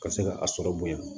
Ka se ka a sɔrɔ bonya